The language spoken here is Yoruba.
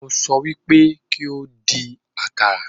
Mo sọ wí pé kí o dín àkàrà.